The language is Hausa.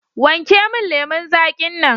Wanke min lemun zaƙin nan.